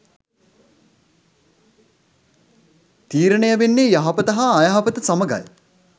තීරණය වෙන්නේ යහපත හා අයහපත සමඟයි.